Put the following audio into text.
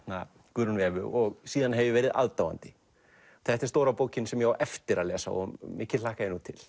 Guðrúnu Evu og síðan hef ég verið aðdáandi þetta er stóra bókin sem ég á eftir að lesa og mikið hlakka ég til